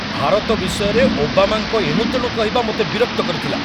ଭାରତ ବିଷୟରେ ଓବାମାଙ୍କ ଏଣୁତେଣୁ କହିବା ମୋତେ ବିରକ୍ତ କରିଥିଲା।